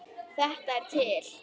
Þetta er til.